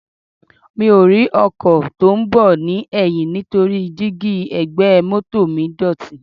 Mi ò rí ọkọ̀ tí ó ń bọ̀ ní ẹ̀yìn nítorí díígí ẹ̀gbẹ́ mọ́tọ̀ mi dọ̀tí.